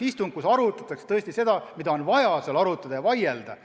Istungil arutataks tõesti teemasid, mida on vaja seal arutada, mille üle on vaja vaielda.